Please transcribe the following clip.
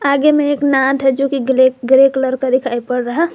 आगे में एक नांद है जो की ग्रे कलर का दिखाई पड़ रहा--